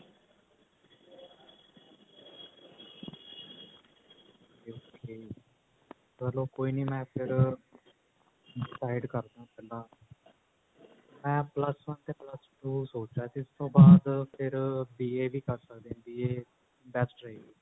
ਚੱਲੋ ਕੋਈ ਨਹੀਂ ਮੈਂ ਫੇਰ decide ਕਰਦਾ ਪਹਿਲਾਂ ਮੈਂ plus one ਤੇ plus two ਸੋਚ ਰਿਹਾ ਸੀ ਉਸ ਤੋਂ ਬਾਅਦ ਫੇਰ BA ਵੀ ਕਰ ਸਕਦੇ ਹਾਂ BA best ਰਹੇਗੀ